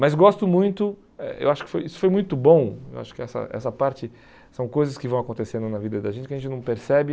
Mas gosto muito, eh eu acho que foi isso foi muito bom, eu acho que essa essa parte são coisas que vão acontecendo na vida da gente que a gente não percebe.